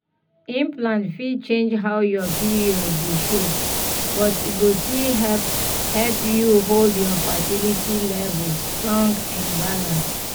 implant fit change how your period dey show but e go still help help you hold your fertility levels strong and balanced.